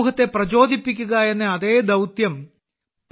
സമൂഹത്തെ പ്രചോദിപ്പിക്കുക എന്ന അതേ ദൌത്യം ശ്രീ